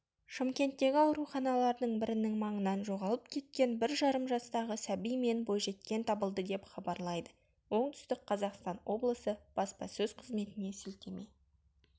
шымкенттегі ауруханалардың бірінің маңынан жоғалып кеткен бір жарым жастағы сәби мен бойжеткен табылды деп хабарлайды оңтүстік қазақстан облысы баспасөз қызметіне сілтеме